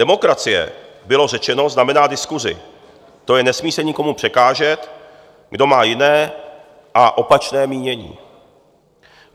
Demokracie," bylo řečeno, "znamená diskusi, to je nesmí se nikomu překážet, kdo má jiné a opačné mínění.